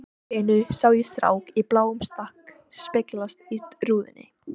Allt í einu sá ég strák í bláum stakk speglast í rúðunni.